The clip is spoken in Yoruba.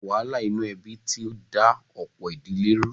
Àwọn wàhálà inú ẹbí ti da ọ̀pọ̀ ìdílé rú.